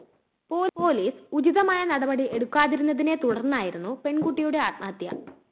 police ഉചിതമായ നടപടി എടുക്കാതിരുന്നതിനെ തുടര്‍ന്നായിരുന്നു പെണ്‍കുട്ടിയുടെ ആത്മഹത്യ